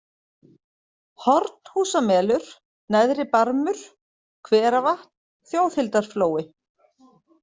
Hornhúsamelur, Neðri-Barmur, Hveravatn, Þjóðhildarflói